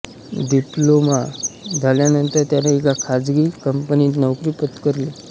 diploma झाल्यानंतर त्याने एका खासगी कंपनीत नोकरी पत्करली